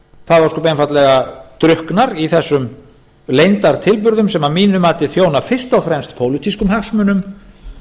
það ósköp einfaldlega drukknar í þessum leyndartilburðum sem að mínu mati þjóna fyrst og fremst pólitískum hagsmunum